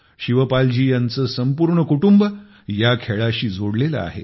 शिवपालजी यांचे संपूर्ण कुटुंब या खेळाशी जोडलेले आहे